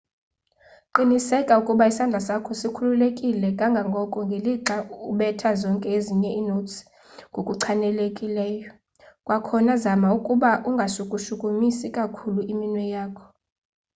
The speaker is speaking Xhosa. qiniseka ukuba isandla sakho sikhululekile kangangoko ngelixa ubetha zonke ezinye inotes ngokuchanileyo-kwakhona zama ukuba ungashukushukumisi kakhulu iminwe yakho